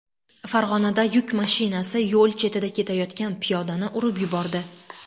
Farg‘onada yuk mashinasi yo‘l chetida ketayotgan piyodani urib yubordi.